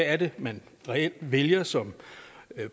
at det man reelt vælger som